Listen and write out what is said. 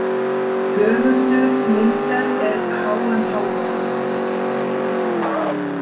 Höfundur myndar er hmhv.